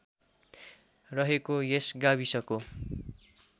रहेको यस गाविसको